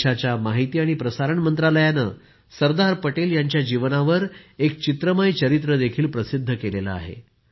देशाच्या माहिती आणि प्रसारण मंत्रालयानं सरदार पटेल यांच्या जीवनावर एक चित्रमय चरित्रही प्रसिद्ध केलं आहे